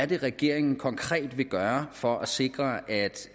det er regeringen konkret vil gøre for at sikre at